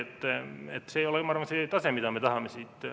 Aga ma arvan, et see ei ole see tase, mida me siin tahame.